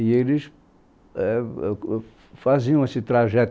E eles éh ãh faziam esse trajeto.